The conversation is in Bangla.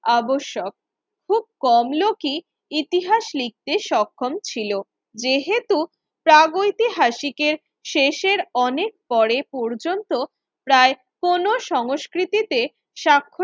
আবশ্যক খুব কম লোকই ইতিহাস লিখতে সক্ষম ছিল, যেহেতু প্রাগৈতিহাসিকের শেষের অনেক পরে পর্যন্ত প্রায় কোন সংস্কৃতিতে স্বাক্ষ